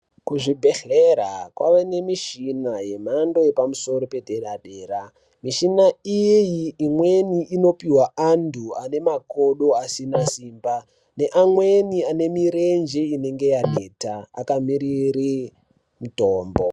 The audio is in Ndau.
Ku zvibhedhlera kwave ne mishina ye mhando yepa musoro pe dera dera mishina iyi imweni ino pihwa antu ane makodo asina simba ne amweni ane mirinje inenge yaneta aka mirire mitombo.